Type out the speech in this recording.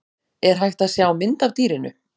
er hægt að sjá mynd af dýrinu